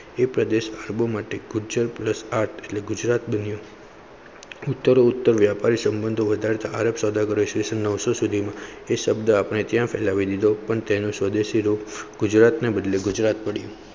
પ્રદેશ ભોજ માટે ગૂર્જર પ્લસ ગુજરાત ઉત્તર વ્યાપારી સંબંધો વધારે સૌદાગર સ્ટેશન Nine-Hundred સુડ શબ્દ અપને ત્યાં ફેલાવી દીધો પણ તેનું સ્વરૂપ ગુજરાતને બદલેં ગુજરાત.